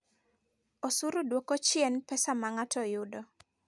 Osuru dwoko chien pesa ma ng'ato yudo.